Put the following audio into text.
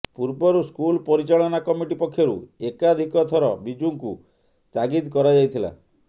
ପୂର୍ବରୁ ସ୍କୁଲ ପରିଚାଳନା କମିଟି ପକ୍ଷରୁ ଏକାଧିକଥର ବିଜୁକୁ ତାଗିଦ କରାଯାଇଥିଲା